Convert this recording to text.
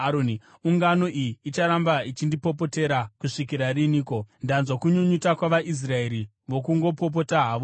“Ungano iyi icharamba ichindipopotera kusvikira riniko? Ndanzwa kunyunyuta kwavaIsraeri vokungopopota havo ava.